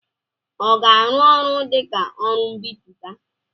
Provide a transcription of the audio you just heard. ọ ga-arụ ọrụ dị ka onye mbipụta?